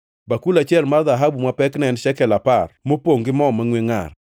bakul achiel mar dhahabu ma pekne en shekel apar, mopongʼ gi mo mangʼwe ngʼar;